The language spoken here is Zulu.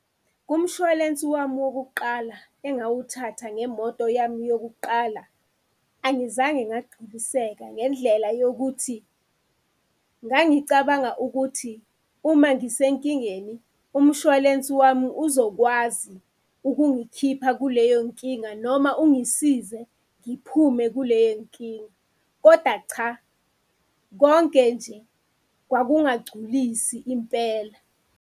Kumshwalensi wami wokuqala engawuthatha ngemoto yami yokuqala angizange ngagculiseka, ngendlela yokuthi ngangicabanga ukuthi uma ngisenkingeni umshwalensi wami uzokwazi ukungikhipha kuleyo nkinga noma ungisize ngiphume kule nkinga. Koda, cha! Konke nje kwakungagculisi impela.